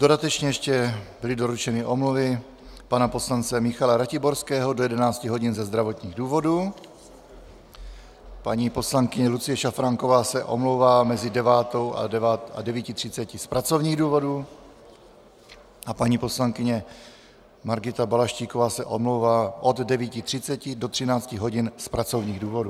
Dodatečně ještě byly doručeny omluvy pana poslance Michala Ratiborského do 11 hodin ze zdravotních důvodů, paní poslankyně Lucie Šafránková se omlouvá mezi 9.00 a 9.30 z pracovních důvodů a paní poslankyně Margita Balaštíková se omlouvá od 9.30 do 13 hodin z pracovních důvodů.